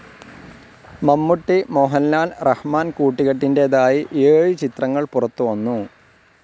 മമ്മൂട്ടി, മോഹൻലാൽ, റഹ്മാൻ കൂട്ടുകെട്ടിൻ്റെതായി ഏഴ് ചിത്രങ്ങൾ പുറത്തുവന്നു.